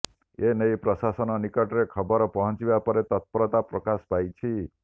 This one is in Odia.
ଏ ନେଇ ପ୍ରଶାସନ ନିକଟରେ ଖବର ପହଞ୍ଚିବା ପରେ ତତ୍ପରତା ପ୍ରକାଶ ପାଇଛି